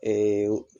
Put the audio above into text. Ee